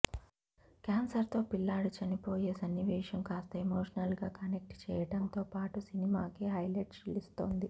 cancer తో పిల్లాడి చనిపోయే సన్నివేశం కాస్త ఎమోషనల్ గా కనెక్ట్ చెయ్యడంతో పాటు సినిమాకే హైలెట్ నిలుస్తోంది